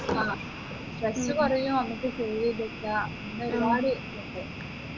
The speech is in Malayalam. ആ stress കുറയും നമ്മുക്ക് save ചെയ്തു വെക്കാം അങ്ങനെ ഒരുപാട് ഇതുണ്ട്